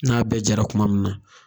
N'a bɛ jara kuma min na